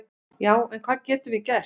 Já en hvað getum við gert?